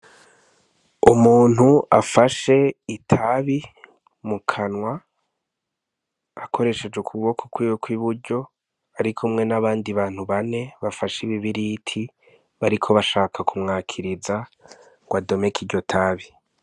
Umuntu afashe itabi mu kanwa akoresheje ukuboko kwiwe kw'iburyo, arikumwe n'abandi bantu bane bafashe ibibiriti bariko bashaka kumwakiriza ngo adomeke iryo tabi.